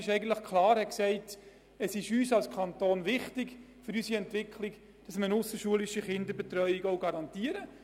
Dem Kanton war es damals für seine Entwicklung wichtig, eine ausserschulische Kinderbetreuung zu garantieren.